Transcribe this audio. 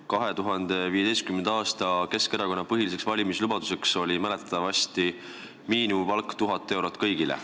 2015. aasta Keskerakonna põhiliseks valimislubaduseks oli mäletatavasti kõigile 1000 eurot miinimumpalka.